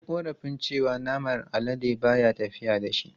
Ya yi korafin cewa naman alade ba ya tafiya da shi.